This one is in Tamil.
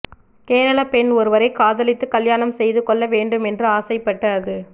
கேரளாப் பெண் ஒருவரைக் காதலித்துக் கல்யாணம் செய்து கொள்ள வேண்டும் என்று ஆசைப்பட்டு அது